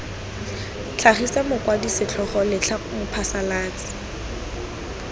tlhagisa mokwadi setlhogo letlha mophasalatsi